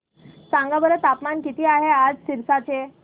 सांगा बरं तापमान किती आहे आज सिरसा चे